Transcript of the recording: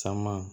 Caman